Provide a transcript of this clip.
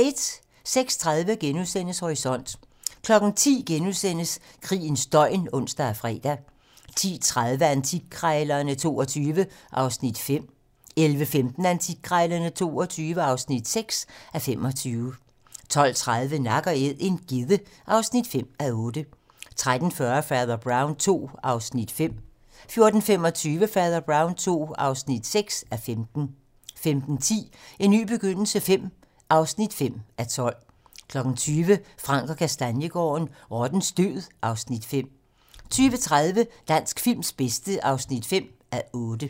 06:30: Horisont * 10:00: Krigens døgn *(ons og fre) 10:30: Antikkrejlerne XXII (5:25) 11:15: Antikkrejlerne XXII (6:25) 12:30: Nak & Æd - en gedde (5:8) 13:40: Fader Brown II (5:15) 14:25: Fader Brown II (6:15) 15:10: En ny begyndelse V (5:12) 20:00: Frank & Kastaniegaarden - Rottens død (Afs. 5) 20:30: Dansk films bedste (5:8)